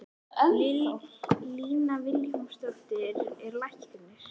Lína Vilhjálmsdóttir er læknir.